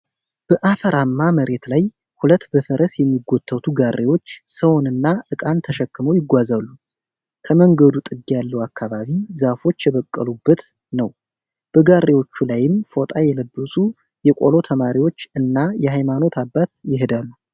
በአፈራማ መሬት ላይ ሁለት በፈረስ የሚጎተቱ ጋሪዎች ሰውን እና እቃን ተሸክመው ይጓዛሉ። ከመንገዱ ጥግ ያለው አካባቢ ዛፎች የበቀሉበት ነው። በጋሪዎቹ ላይም ፎጣ የለበሱ የቆሎ ተማሪዎች እና የሃይማኖት አባት ይሄዳሉ።